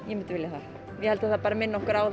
ég myndi vilja það ég held að það bara minni okkur á